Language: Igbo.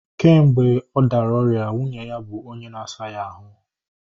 Kemgbe ọ dara ọrịa, nwunye ya bụ onye na-asa ya ahụ